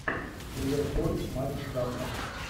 ливерпуль матч завтра